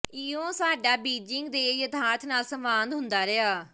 ਇਉਂ ਸਾਡਾ ਬੀਜਿੰਗ ਦੇ ਯਥਾਰਥ ਨਾਲ ਸੰਵਾਦ ਹੁੰਦਾ ਰਿਹਾ